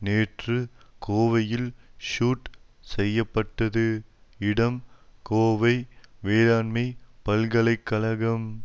நேற்று கோவையில் ஷூட் செய்ய பட்டது இடம் கோவை வேளாண்மை பல்கலை கழகம்